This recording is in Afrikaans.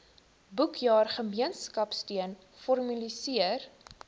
boekjaar gemeenskapsteun formaliseer